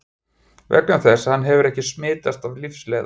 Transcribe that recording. Vegna þess að hann hefur ekki smitast af lífsleiða.